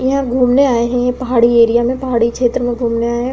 यह घूमने आये हैं। पहाड़ी एरिया में पहाड़ी छेत्र में घूमने आये हैं।